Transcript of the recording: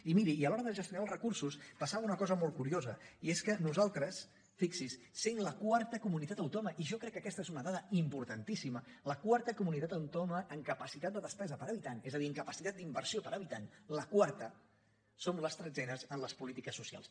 i miri i a l’hora de gestionar els recursos passava una cosa molt curiosa i és que nosaltres fixi’s sent la quarta comunitat autònoma i jo crec que aquesta és una dada importantíssima la quarta comunitat autònoma en capacitat de despesa per habitant és a dir en capacitat d’inversió per habitant la quarta som la tretzena en les polítiques socials